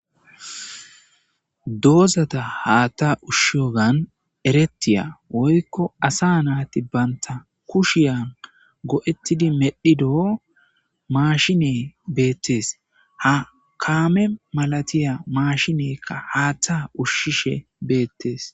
doozata haatta ushshiyogan erettiya woykko asa naati banta kushiyan go7ettidi medhidoo maashine beettes ha kaame malatiya maashinekka haaththa ushshishe beettes